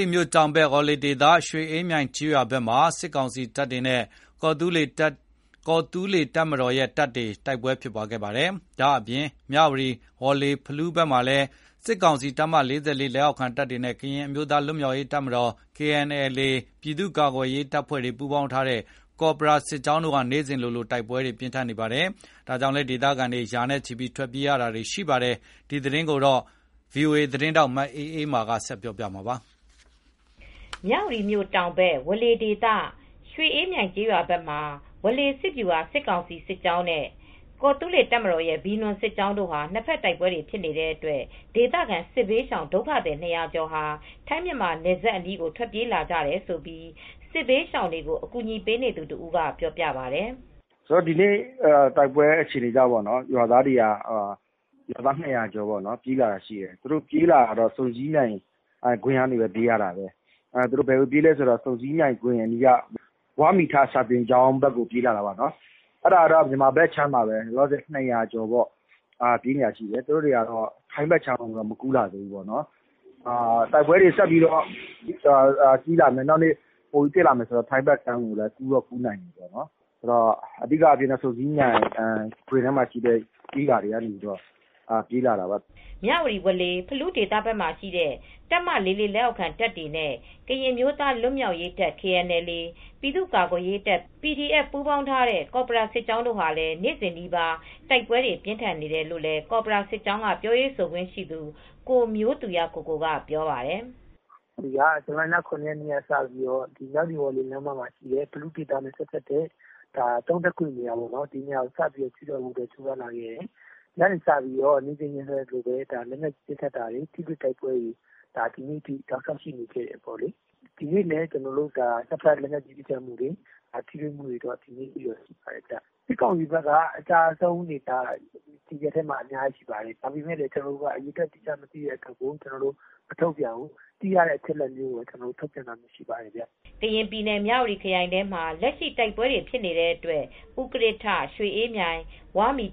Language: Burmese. ီမြို့ တောင်ဘက်ဝေါလေဒေသ ရွှေအေးမြိုင်ကျေးရွာဘက်မှာ ဝေါလေစစ်ဗျူဟာ စစ်ကောင်စီစစ်ကြောင်း နဲ့ ကော်သူးလေ တပ်မတော်ရဲ့ Venom (ဗွီနွမ်)စစ်ကြောင်းနဲ့ မြဝတီ ဝေါလေ ဖလူးဒေသဘက်မှာရှိတဲ့ တပ်မ၄၄ လက်အောက်ခံတပ်တွေနဲ့ ကရင်အမျိုးသား လွတ်မြောက်ရေးတပ် ပြည်သူ့ကာကွယ်ရေးတပ် ပူးပေါင်းထားတဲ့ ကော်ပရာစစ်ကြောင်း တို့ဟာနေစဉ်နီးပါး တိုက်ပွဲတွေ ပြင်းထန်နေပါတယ် ။ တိုက်ပွဲပြင်းထန်နေတဲ့အတွက် ဒေသခံ ပြည်သူရာဂဏန်းလောက်ဟာ စစ်ဘေးရှောင်တွေအဖြစ် ဘေးလွတ်ရာကို ထပ်မံထွက်ပြေးနေရပါတယ် ။ ဒီသတင်းကို ဗွီအိုအေ သတင်းထောက် မအေးအေးမား က သတင်းပေးပို့ထားပါတယ်။ မြဝတီမြို့ တောင်ဘက်ဝေါလေဒေသ ရွှေအေးမြိုင် ကျေးရွာဘက်မှာ ဝေါလေစစ်ဗျူဟာ စစ်ကောင်စီစစ်ကြောင်း နဲ့ ကော်သူးလေ တပ်မတော်ရဲ့ Venom (ဗွီနွမ်)စစ်ကြောင်းတို့ နှစ်ဖက်တိုက်ပွဲတွေဖြစ်နေတဲ့အတွက် ဒေသခံစစ်ဘေးရှောင် ဒုက္ခသည်၂၀၀ကျော်ဟာ ထိုင်းမြန်မာနယ်စပ်အနီး ကို ထွက်ပြေးလာကြတယ်လို့ စစ်ဘေးရှောင်တွေကို အကူညီပေးနေသူတဦး က ပြောပြပါတယ်။ " ဒီနေ့ တိုက်ပွဲအခြေအနေကြောင့် ရွာသား၂၀၀ကျော် ပြေးလာပါတယ်။ သူတို့ ပြေးလာတာက ဆုံဆည်းမြိုင်ဂွင်ကနေ ပြေးလာတာပါ။ ဆုံဆည်းမြိုင်ဂွင်ကနေ ဝါးမီထ စာသင်ကျောင်း ဘက်ကို ပြေးလာတာပါ။ လောလောဆည် မြန်မာဘက်ခြမ်းမှာပဲရှိပါသေးတယ်။ နောက်နေ တိုက်ပွဲတွေ ဆက်ဖြစ်မယ်ဆိုရင် ထိုင်းဘက်ကိုလည် းကူးနိုင်ပါတယ်။ အဓိကဆုံဆည်းမြိုင်ထဲက ကျေးရွာတွေ ကပြေးလာတာပါ" မြဝတီ ဝေါလေ ဖလူးဒေသဘက်မှာရှိတဲ့ တပ်မ၄၄ လက်အောက်ခံတပ်တွေနဲ့ ကရင်အမျိုးသားလွတ်မြောက်ရေးတပ်KNLA ပြည်သူ့ကာကွယ်ရေးတပ် PDFပူးပေါင်းထားတဲ့ ကော်ပရာစစ်ကြောင်းတို့ဟာ နေ့စဉ်နီးပါး တိုက်ပွဲတွေပြင်းထန်နေတယ်လို့လည်း ကော်ပရာစစ်ကြောင်း က ပြောရေးဆိုခွင့်ရှိသူ ကိုမျိုးသူရကိုကို ကပြောပါတယ် ။ "ဇူလိုင်လ ၇ ရက်နေ့ကစပြီး မြဝတီ ဝေါလေလမ်းမက ဖလူးဒေသ သုံးထပ်ကွေ့ဆိုတဲ့နေရာကို စတင်ချဉ်းကပ်ဖို့ ကြိုးစားခဲ့တယ်။ အဲဒီကနေ့ စပြီး နေ့စဉ်လည်းထိတွေ့ပစ်ခတ်မူတွေ လက်နက်ကြီးနဲ့ ပစ်ခတ်မူတွေ ဒီနေ့ထိ တောက်လျောက်ရှိနေခဲ့တယ်။ ဒီနေ့လည်း နှစ်ဖက်ပစ်ခတ်မူတွေ ထိတွေ့မူတွေဖြစ်ခဲ့တယ်။ စစ်ကောင်စီဘက်က အကျအဆုံးအများကြီးရှိပါတယ်။အရေအတွက် အတိအကျမသိရသေးတဲ့ ကျနော်တိုက မထုတ်ပြန်သေးပါဘူး။ သိရသလောက် အချက်အလက်တွေပဲ ထုတ်ပြန်တာပဲရှိပါတယ်" ကရင်ပြည်နယ် မြဝတီခရိုင်ထဲမှာ လက်ရှိတိုက်ပွဲဖြစ်နေတဲ့အတွက် ဥကရစ်ထ၊ ရွှေအေးမြိုင်၊ ဝါးမီ